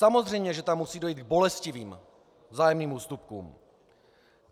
Samozřejmě že tam musí dojít k bolestivým vzájemným ústupkům.